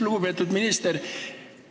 Lugupeetud minister!